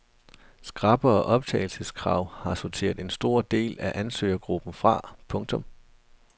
Skrappere optagelseskrav har sorteret en stor del af ansøgergruppen fra. punktum